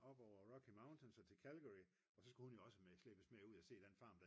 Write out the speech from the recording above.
op over rocky mountains og til Calgary og så skulle hun jo også slæbes med ud at se den farm